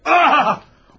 Ah!